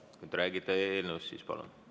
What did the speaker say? Kui te räägite eelnõust, siis palun!